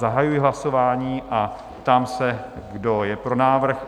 Zahajuji hlasování a ptám se, kdo je pro návrh?